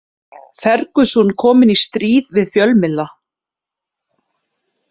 Ferguson kominn í stríð við fjölmiðla